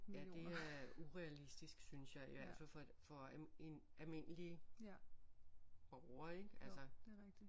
Ja det er urealistisk synes jeg i hvert fald for en almindelig borger ik altså